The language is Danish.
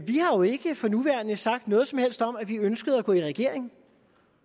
vi jo ikke for nuværende har sagt noget som helst om at vi ønsker at gå i regering